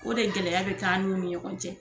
O de gɛlɛya bɛ kɛ an n'u ni ɲɔgɔn cɛ.